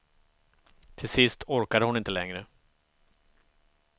Till sist orkade hon inte längre.